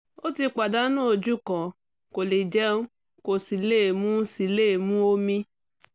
ó ti pàdánù ojú kan kò lè jẹun kò sì lè mu sì lè mu omi